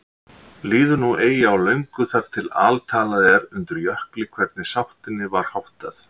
Líður nú eigi á löngu þar til altalað er undir Jökli hvernig sáttinni var háttað.